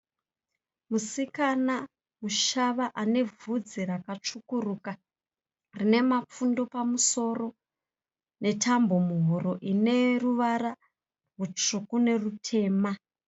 Musikana mushava ane bvudzi rakatsvukuruka rine mapfundu pamusoro netambo muhuro ine ruvara rutsvuku nerutema.